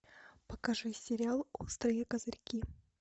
покажи сериал острые козырьки